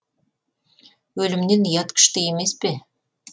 өлімнен ұят күшті емес пе